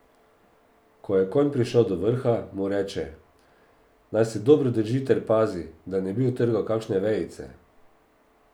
Ko je konj prišel do vrha, mu reče, naj se dobro drži ter pazi, da ne bi utrgal kakšne vejice.